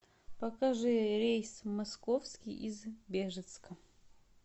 покажи рейс в московский из бежецка